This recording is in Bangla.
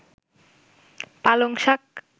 পালং শাক